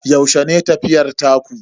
Yaushe ne tafiyar taku?